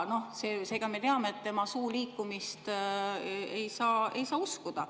Seega me teame, et tema suu liikumist ei saa uskuda.